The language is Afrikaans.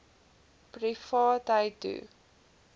privaatheidu